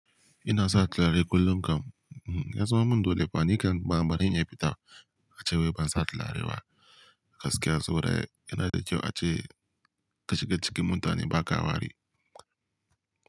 Ina sa turare kullum kam. Ya zama min dole fa ni kam ba baran iya fita ace wai ban sa turare ba. Gaskiya saboda yana da kyau a ce ka shiga cikin mutane baka wari.